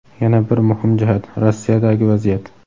yana bir muhim jihat – Rossiyadagi vaziyat.